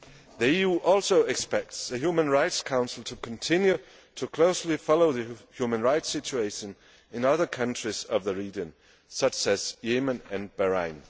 The EU also expects the Human Rights Council to continue to closely follow the human rights situation in other countries of the region, such as Yemen and Bahrain.